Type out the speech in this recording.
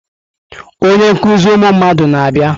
Onye nkuzi ụmụ mmadụ na-abịa.